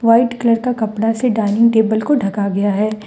White colour का कपड़ा से डाइनिंग टेबल को ढका गया है।